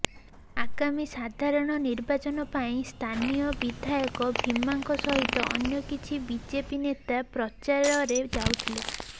ଆଗାମୀ ସାଧାରଣ ନିର୍ବାଚନ ପାଇଁ ସ୍ଥାନୀୟ ବିଧାୟକ ଭୀମାଙ୍କ ସହିତ ଅନ୍ୟ କିଛି ବିଜେପି ନେତା ପ୍ରଚାରରେ ଯାଉଥିଲେ